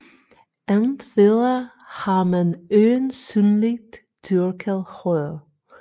Endvidere har man øjensynligt dyrket hør